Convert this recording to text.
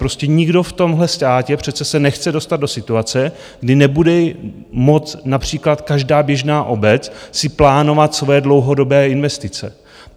Prostě nikdo v tomhle státě přece se nechce dostat do situace, kdy nebude moct - například každá běžná obec - si plánovat svoje dlouhodobé investice.